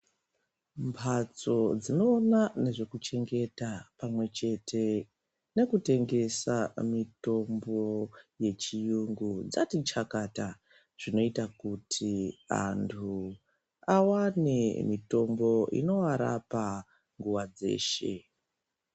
Mhatso dzinona nezvekuchengeta pamwe chete nekutengesa mitombo yechiyungu dzatichakata. Zvinoita kuti antu avane mitombo inovarapa nguva dzeshe.